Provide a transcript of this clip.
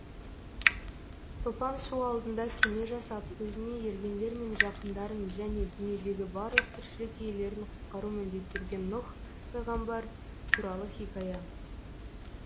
топан су алдында кеме жасап өзіне ергендер мен жақындарын және дүниедегі барлық тіршілік иелерін құтқару міндеттелген нұх пайғамбар туралы хикая